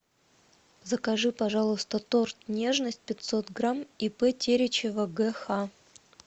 закажи пожалуйста торт нежность пятьсот грамм ип теречева гэ ха